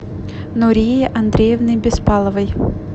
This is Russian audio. нурии андреевны беспаловой